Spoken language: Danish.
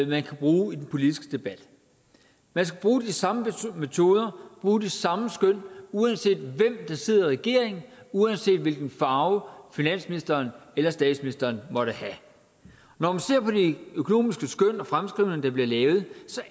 man kan bruge i den politiske debat man skal bruge de samme metoder bruge de samme skøn uanset hvem der sidder i regering uanset hvilken farve finansministeren eller statsministeren måtte have når man ser på de økonomiske skøn og fremskrivninger der bliver lavet